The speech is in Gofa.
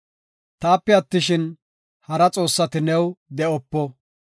“Taape attishin, hara xoossati new de7opo.